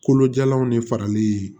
Kolojalanw de farali